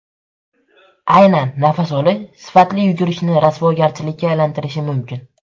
Aynan nafas olish sifatli yugurishni rasvogarchilikka aylantirishi mumkin.